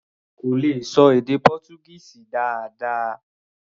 Kò lè ṣọ èdè Pọ́túgíìsì dáadáa.